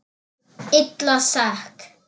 Illa sek.